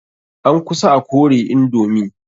An kusa a kore indomi.